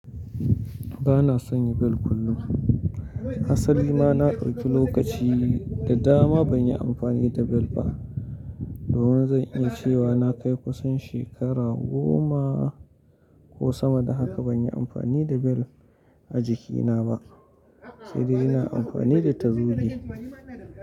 Ba na sanya bel kullum. Asali ma na ɗauki lokaci, da dama ban yi amfani da bel ba. Da wuya zan iya cewa na kai kusan shekara goma, ko sama da haka ban yi amfani da bel a jikina ba, sai dai ina amfani da tazuge.